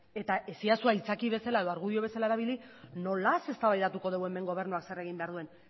eta ez iezadazu aitzakia bezala edo argudio bezala erabili nolaz eztabaidatuko dugu hemen gobernuak zer egin behar duen